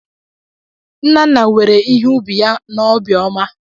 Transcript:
Nnanna were ihe ubi ya n'obiọma